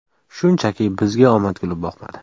Shunchaki, bizga omad kulib boqmadi.